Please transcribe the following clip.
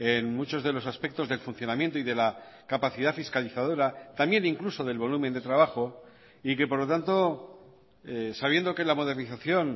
en muchos de los aspectos del funcionamiento y de la capacidad fiscalizadora también incluso del volumen de trabajo y que por lo tanto sabiendo que la modernización